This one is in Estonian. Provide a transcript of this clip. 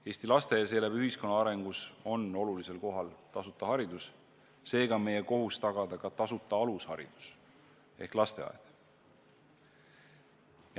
Eesti laste ja seeläbi kogu ühiskonna arengus on olulisel kohal tasuta haridus, seega on meie kohus tagada ka tasuta alusharidus ehk lasteaed.